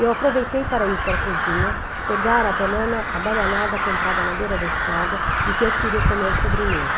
Eu aproveitei para ir para a cozinha, pegar a banana abadanada comprada na beira da estrada e que eu queria comer de sobremesa.